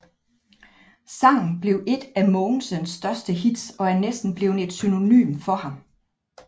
Sangen blev et af Mogensens største hits og er næsten blevet et synonym for ham